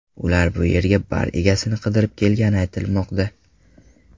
Ular bu yerga bar egasini qidirib kelgani aytilmoqda.